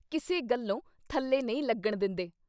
ਕਿਸੇ ਗੱਲੋਂ ਥੱਲੇ ਨਹੀਂ ਲੱਗਣ ਦਿੰਦੇ।"